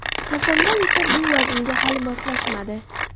Hasanboy esa bu vaznga hali moslashmadi.